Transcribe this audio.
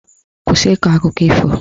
Kwụsị ịkọ akụkọ ifo!